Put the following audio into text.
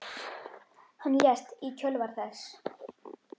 Hann lést í kjölfar þess.